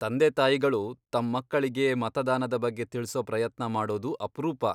ತಂದೆ ತಾಯಿಗಳು ತಮ್ ಮಕ್ಕಳಿಗೆ ಮತದಾನದ ಬಗ್ಗೆ ತಿಳ್ಸೋ ಪ್ರಯತ್ನ ಮಾಡೋದು ಅಪ್ರೂಪ.